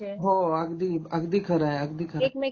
हो, हो अगदी खरं आहे अगदी खरं आहे